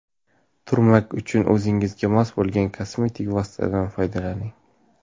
Turmak uchun o‘zingizga mos bo‘lgan kosmetik vositadan foydalaning.